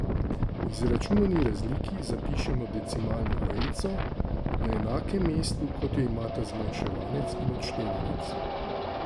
Izračunani razliki zapišemo decimalno vejico na enakem mestu, kot jo imata zmanjševanec in odštevanec.